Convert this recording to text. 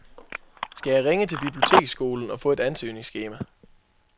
Skal jeg ringe til biblioteksskolen og få et ansøgningsskema?